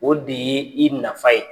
O de ye i nafa ye.